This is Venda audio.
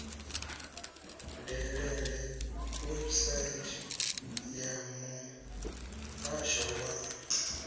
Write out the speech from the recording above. dalele website ya muhasho wa